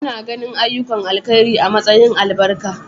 Ana ganin ayyukan alheri a matsayin albarka.